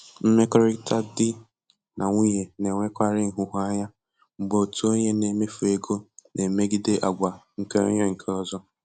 Mmekọrịta di na nwunye na-enwekarị nhụjuanya mgbe otu onye na-emefu ego na-emegide àgwà nke onye nke ọzọ.